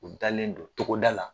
U dalen do togoda la.